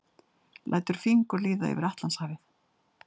Lætur fingur líða yfir Atlantshafið.